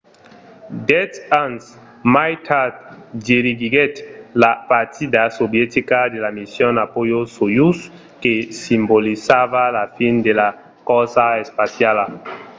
dètz ans mai tard dirigiguèt la partida sovietica de la mission apollo-soyouz que simbolizava la fin de la corsa espaciala